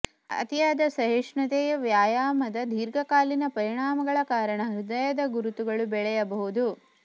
ಅತಿಯಾದ ಸಹಿಷ್ಣುತೆಯ ವ್ಯಾಯಾಮದ ದೀರ್ಘಕಾಲೀನ ಪರಿಣಾಮಗಳ ಕಾರಣ ಹೃದಯದ ಗುರುತುಗಳು ಬೆಳೆಯಬಹುದು